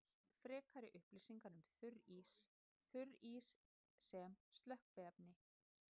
Frekari upplýsingar um þurrís: Þurrís sem slökkviefni.